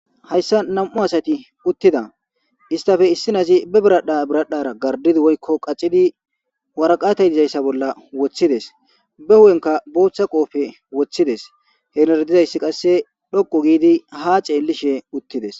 Hayssa nam'u asati uttida istafe issinazi be biradha biradhara gardidi woykko qaccidi waraqatay dizayssa bolla woththides be hu'enka booththa qoofe woththides heenardizayssi qasse dhokko giidi ha ceellishe uttides